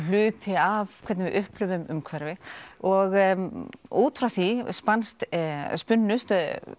hluti af hvernig við upplifum umhverfið og út frá því spunnust spunnust